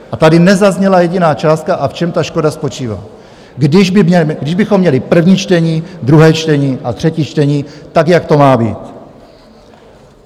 A tady nezazněla jediná částka a v čem ta škoda spočívá, když bychom měli první čtení, druhé čtení a třetí čtení, tak jak to má být.